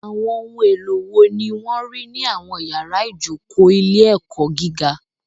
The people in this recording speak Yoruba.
Àwọn ohun èlò wo ni wọ́n rí ní àwọn yàrá ìjókòó ilé-ẹ̀kọ́ gíga?